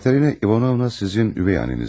Katerina İvanovna sizin ögey anəniz deyilmi?